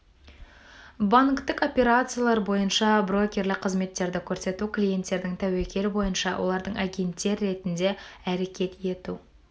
банктік операциялар бойынша брокерлік қызметтерді көрсету клиенттердің тәуекел бойынша олардың агенттер ретінде әрекет ету